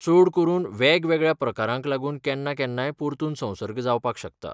चडकरून वेगवेगळ्या प्रकारांक लागून केन्ना केन्नाय परतून संसर्ग जावपाक शकता.